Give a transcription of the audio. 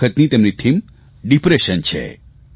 આ વખતની તેમની થીમ ડિપ્રેશન છે